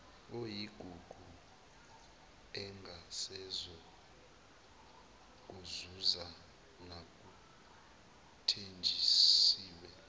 oyigugu engasezokuzuza nakuthenjisiwe